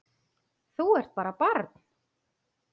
Þú ert bara barn.